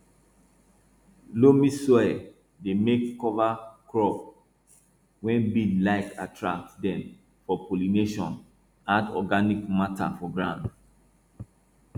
loamy soil dey make cover crop wey bees like attract dem for pollination add organic matter for ground